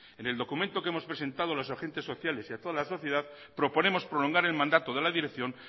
en el documento que hemos presentado a los agentes sociales y a toda la sociedad proponemos prolongar el mandato de la dirección